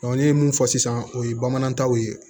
ne ye mun fɔ sisan o ye bamanankan ye